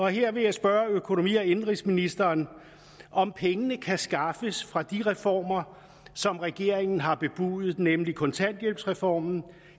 her vil jeg spørge økonomi og indenrigsministeren om pengene kan skaffes fra de reformer som regeringen har bebudet nemlig kontanthjælpsreformen og